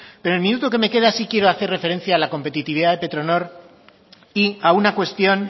pero el minuto que me queda sí quiero hacer referencia a la competitividad de petronor y a una cuestión